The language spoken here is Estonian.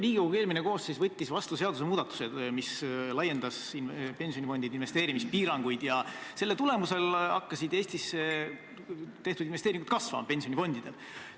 Riigikogu eelmine koosseis võttis vastu seadusemuudatuse, mis laiendas pensionifondide investeerimispiiranguid, ja selle tulemusel hakkasid Eestisse tehtud investeeringud pensionifondidel kasvama.